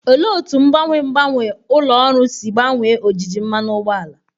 Olee otú mgbanwe mgbanwe ụlọ ọrụ si gbanwee ojiji mmanụ ụgbọala?